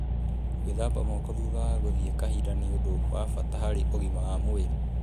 Gwíthamba moko thutha wa gũthiĩ kahinda nĩ ũndũ wa bata harĩ ũgima wa mwĩrĩ.